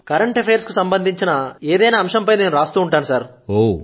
current affairs కు సంబంధించిన ఏదైనా అంశంపై నేను వ్రాస్తూ ఉంటాను